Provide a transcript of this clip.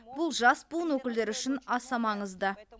бұл жас буын өкілдері үшін аса маңызды